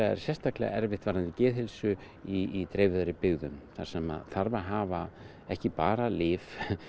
er sérstaklega erfitt varðandi geðheilsu í dreifðari byggðum þar sem þarf að hafa ekki bara lyf